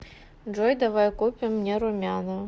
джой давай купим мне румяна